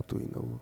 ètò ìnáwó.